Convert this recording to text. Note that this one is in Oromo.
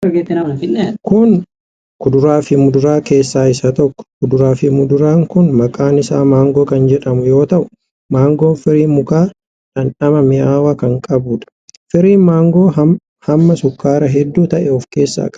Kun, kuduraa fi muduraa keessaa isa tokko. Kuduraa fi muduraan kun maqaan isaa maangoo kan jedhamu yoo ta'u, maangoon firii mukaa dhandhama mi'aawaa ta'e qabuu dha. Firiin maangoo hamma sukkaaraa hedduu ta'e of keessaa qaba.